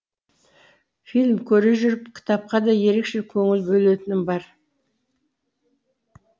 фильм көре жүріп кітапқа да ерекше көңіл бөлетінім бар